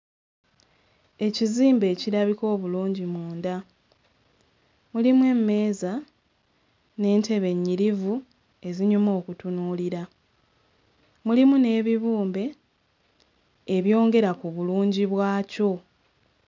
Ekizimbe ekirabika obulungi munda, mulimu emmeeza n'entebe ennyirivu ezinyuma okutunuulira, mulimu n'ebibumbe ebyongera ku bulungi bwakyo.